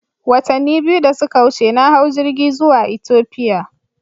Watanni biyu da suka wuce, na hau jirgi zuwa Ethiopia.